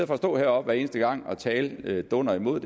for at stå heroppe hver eneste gang og tale dunder imod